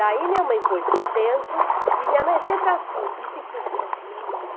Daí minha mãe pôs para dentro, e minha mãe sempre assim, e se fosse uma filha minha?